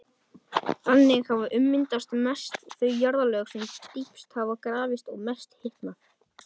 Þannig hafa ummyndast mest þau jarðlög sem dýpst hafa grafist og mest hitnað.